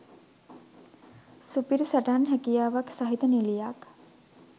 සුපිරි සටන් හැකියාවක් සහිත නිළියක්